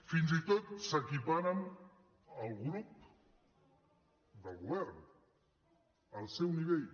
fins i tot s’equiparen al grup del govern al seu nivell